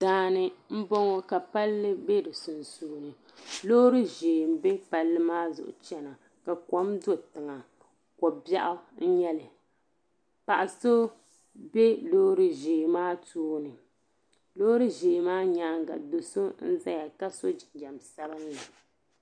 Daani n bɔŋɔ. ka palli be bi sunsuuni. lɔɔriʒɛɛ n be palli maa zuɣu n chana, ka kom do tiŋa kobɛɣu n nyɛli. paɣasobe lɔɔri ʒɛɛ maa tooni lɔɔri ʒɛɛ maa nyaaŋa do' so n ʒaya ka so jinjam sabinli.